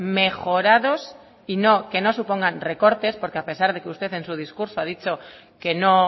mejorados y que no supongan recortes porque a pesar de que usted en su discurso ha dicho que no